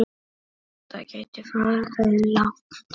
Svo kvaddir þú.